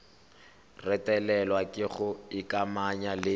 retelelwa ke go ikamanya le